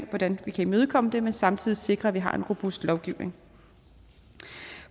hvordan vi kan imødekomme det men samtidig sikre at vi har en robust lovgivning